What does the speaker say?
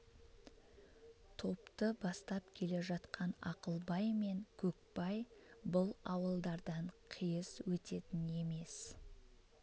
топты бастап келе жатқан ақылбай мен көкбай бұл ауылдардан қиыс өтетін емес